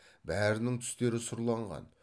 бәрінің түстері сұрланған